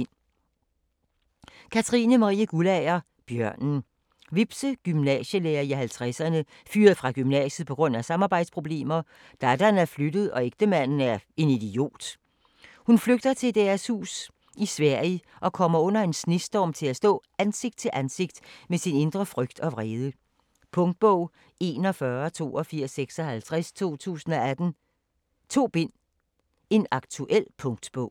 Guldager, Katrine Marie: Bjørnen Vibse, gymnasielærer i 50'erne, fyret fra gymnasiet pga. samarbejdsproblemer, datteren er flyttet og ægtemanden er en idiot. Hun flygter til deres hus i Sverige, og kommer under en snestorm til at stå ansigt til ansigt med sin indre frygt og vrede. Punktbog 418256 2018. 2 bind. Aktuel punktbog